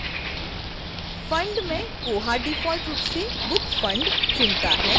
fund में koha default रूप से books fund चुनता है